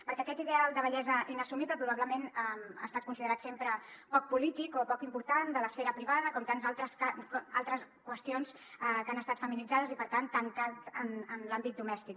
perquè aquest ideal de bellesa inassumible probablement ha estat considerat sempre poc polític o poc important de l’esfera privada com tantes al·tres qüestions que han estat feminitzades i per tant tancades en l’àmbit domèstic